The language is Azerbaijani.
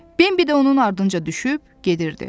Bembi də onun ardınca düşüb gedirdi.